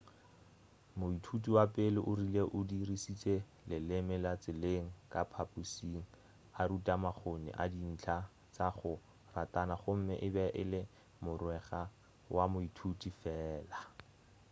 moithuti wa pele o rile o 'dirišitše leleme la tseleng ka phaphušing a rutha makgoni a dintlha tša go ratana gomme e be e le mogwera wa moithuti fela.'